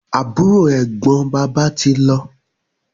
Àbúrò/Ẹ̀gbọ́n bàbá tí lọ